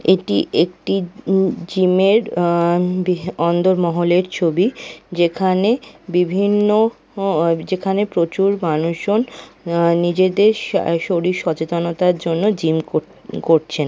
এটি একটি উম জিম -এর আ-বি-অন্দর মহলের ছবি যেখানে বিভিন্ন ও যেখানে প্রচুর মানুষজন আ নিজেদের শা-শরীর সচেতনতার জন্য জিম কর-করছেন ।